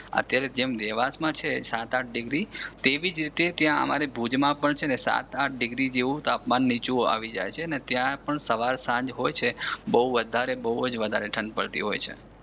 અત્યારે જેમ દેવાંશમાં છે સાત આંઠ ડિગ્રી તેવી જ રીતે ત્યાં ભુજમાં પણ છે ને સાત આંઠ ડિગ્રી જેવુ નીચું આવી જાય છે અને ત્યાં પણ સવાર સાંજ હોય છે બહુ વધારે બહુ જ વધારે ઠંડ પડતી હોય છે